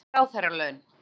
Vill ekki ráðherralaun